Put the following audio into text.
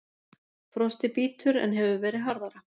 Frostið bítur en hefur verið harðara